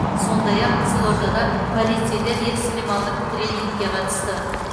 сондай ақ қызылордада полицейлер экстремалдық тренингке қатысты